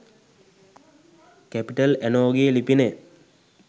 capital ඇනෝ ගේ ලිපිනය